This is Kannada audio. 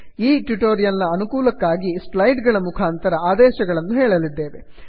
ಈ ಟ್ಯುಟೋರಿಯಲ್ ನ ಅನುಕೂಲಕ್ಕಾಗಿ ಸ್ಲೈಡ್ ಗಳ ಮುಖಾಂತರ ಆದೇಶಗಳನ್ನು ಹೇಳಲಿದ್ದೇವೆ